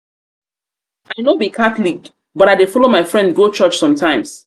i no be catholic but i dey follow my friend go church sometimes.